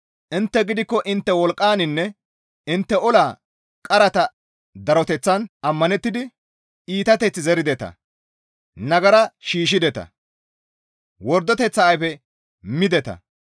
«Intte gidikko intte wolqqaninne intte ola qarata daroteththan ammanettidi iitateththi zerideta; nagara shiishshideta; wordoteththa ayfe mideta.